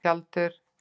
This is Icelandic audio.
Tjaldur